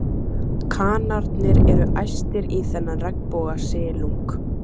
Kanarnir eru æstir í þennan regnbogasilung.